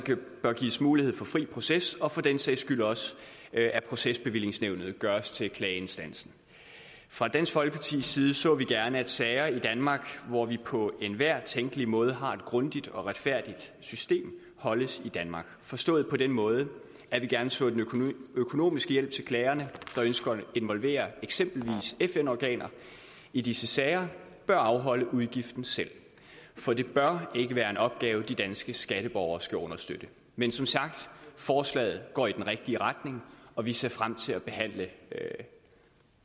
bør gives mulighed for fri proces og for den sags skyld også at procesbevillingsnævnet gøres til klageinstansen fra dansk folkepartis side så vi gerne at sager i danmark hvor vi på enhver tænkelig måde har et grundigt og retfærdigt system holdes i danmark forstået på den måde at vi gerne så at klagerne der ønsker at involvere eksempelvis fn organer i disse sager bør afholde udgiften selv for det bør ikke være en opgave de danske skatteborgere skal understøtte men som sagt forslaget går i den rigtige retning og vi ser frem til at behandle